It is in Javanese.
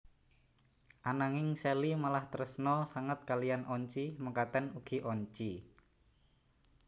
Ananging Shelly malah tresna sanget kaliyan Oncy mekaten ugi Oncy